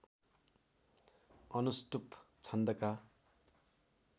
अनुष्टुप् छन्दका